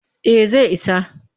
Eh zai isa